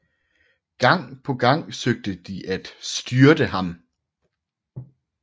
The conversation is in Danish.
Gang på gang søgte de at styrte ham